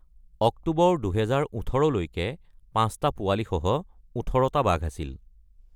অক্টোবৰ ২০১৮ লৈকে, পাঁচটা পোৱালীসহ ১৮টা বাঘ আছিল।